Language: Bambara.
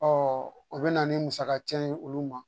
o bɛ na ni musakaci ye olu ma